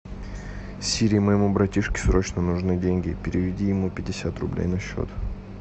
сири моему братишке срочно нужны деньги переведи ему пятьдесят рублей на счет